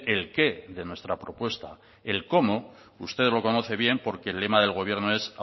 el qué de nuestra propuesta el cómo usted lo conoce bien porque el lema del gobierno es